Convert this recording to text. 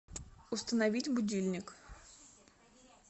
установить будильник